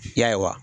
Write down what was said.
Ya